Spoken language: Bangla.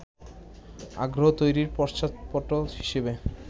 আগ্রহ তৈরির পশ্চাৎপট হিসেবে